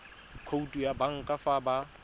khoutu ya banka fa ba